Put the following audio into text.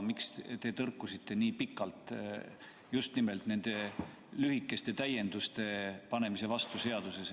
Miks te tõrkusite nii pikalt just nimelt nende lühikeste täienduste seadusesse panemise vastu?